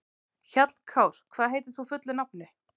Hjallkár, hvað heitir þú fullu nafni?